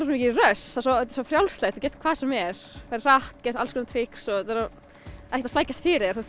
svo mikið rush þetta er svo frjálslegt þú gert hvað sem er ferð hratt gert alls konar trix og þetta er ekkert að flækjast fyrir þér þú